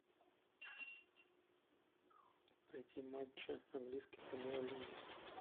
найти матчи английской премьер лиги